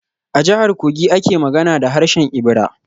A Jihar Kogi ake magana da harshen Ibira.